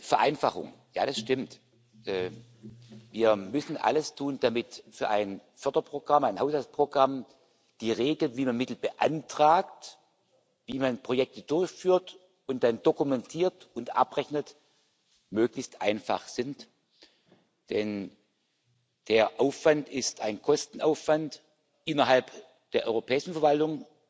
Vereinfachung ja, das stimmt Wir müssen alles tun, damit für ein Förderprogramm, ein Haushaltsprogramm die Regeln, wie man Mittel beantragt, wie man Projekte durchführt und dann dokumentiert und abrechnet, möglichst einfach sind, denn der Aufwand ist ein Kostenaufwand innerhalb der europäischen Verwaltung,